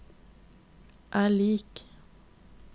er lik